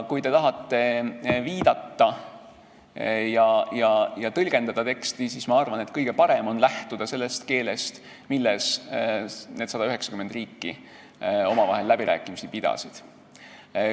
Kui te tahate tekstile viidata ja seda tõlgendada, siis ma arvan, et kõige parem on lähtuda sellest keelest, milles need 190 riiki omavahel läbirääkimisi pidasid.